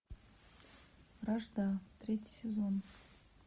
вражда третий сезон